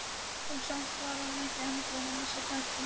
Og samt var hann enn ekki búinn að missa kjarkinn.